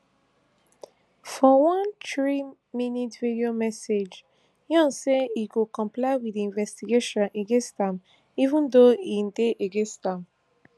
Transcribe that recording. for one threeminute video message yoon say im go comply wit di investigation against am even though im dey against am